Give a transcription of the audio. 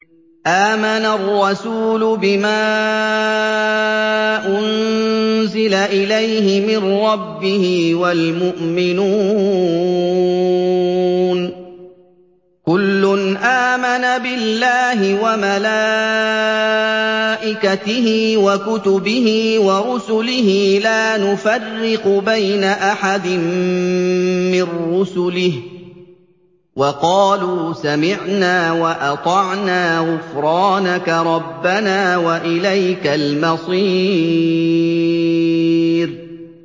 آمَنَ الرَّسُولُ بِمَا أُنزِلَ إِلَيْهِ مِن رَّبِّهِ وَالْمُؤْمِنُونَ ۚ كُلٌّ آمَنَ بِاللَّهِ وَمَلَائِكَتِهِ وَكُتُبِهِ وَرُسُلِهِ لَا نُفَرِّقُ بَيْنَ أَحَدٍ مِّن رُّسُلِهِ ۚ وَقَالُوا سَمِعْنَا وَأَطَعْنَا ۖ غُفْرَانَكَ رَبَّنَا وَإِلَيْكَ الْمَصِيرُ